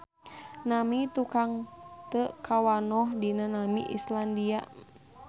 Nami tukang teu kawanoh dina nami Islandia.